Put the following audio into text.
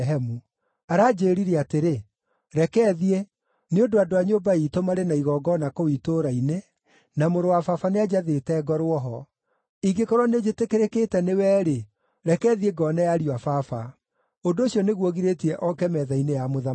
Aranjĩĩrire atĩrĩ, ‘Reke thiĩ, nĩ ũndũ andũ a nyũmba iitũ marĩ na igongona kũu itũũra-inĩ, na mũrũ wa baba nĩanjathĩte ngorwo ho. Ingĩkorwo nĩnjĩtĩkĩrĩkĩte nĩwe-rĩ, reke thiĩ ngoone ariũ a baba.’ Ũndũ ũcio nĩguo ũgirĩtie oke metha-inĩ ya mũthamaki.”